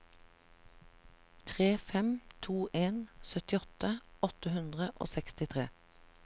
tre fem to en syttiåtte åtte hundre og sekstitre